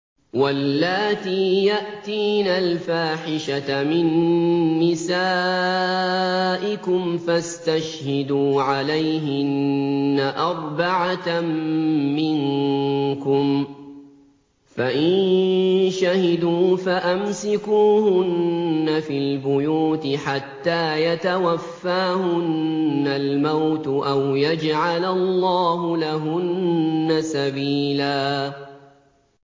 وَاللَّاتِي يَأْتِينَ الْفَاحِشَةَ مِن نِّسَائِكُمْ فَاسْتَشْهِدُوا عَلَيْهِنَّ أَرْبَعَةً مِّنكُمْ ۖ فَإِن شَهِدُوا فَأَمْسِكُوهُنَّ فِي الْبُيُوتِ حَتَّىٰ يَتَوَفَّاهُنَّ الْمَوْتُ أَوْ يَجْعَلَ اللَّهُ لَهُنَّ سَبِيلًا